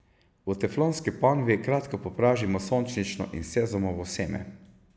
V teflonski ponvi kratko popražimo sončnično in sezamovo seme.